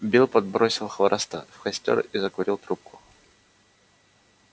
билл подбросил хвороста в костёр и закурил трубку